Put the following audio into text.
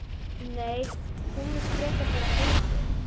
Nei, hún. hún vill frekar vera heima við.